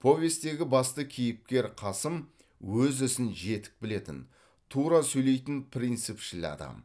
повестегі басты кейіпкер қасым өз ісін жетік білетін тура сөйлейтін принципшіл адам